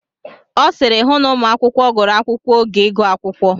Ọ sịịrị, hụ na ụmụ akwụkwọ gụrụ akwụkwọ oge ịgụ akwụkwọ.